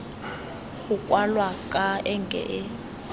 go kwalwa ka enke e